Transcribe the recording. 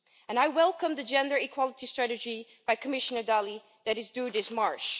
I welcome the Gender-Equality Strategy by Commissioner Dalli, which is due this March.